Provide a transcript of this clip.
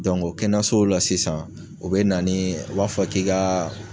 o kɛnɛso la sisan, u bɛna ni, u b'a fɔ k'i ka